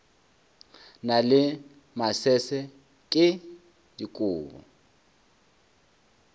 na le masese ke dikobo